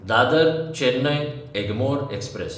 दादर–चेन्नय Egmore express